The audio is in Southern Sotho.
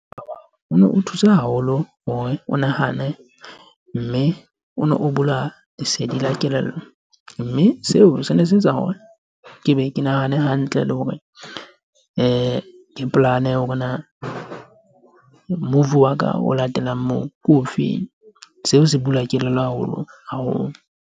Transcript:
o no o thusa haholo hore o nahane, mme o ne o bula lesedi la kelello. Mme seo se ne se etsa hore ke be ke nahane hantle le hore ke plan-e hore na move wa ka o latelang moo ke ofeng. Seo se bula kelello haholo haholo.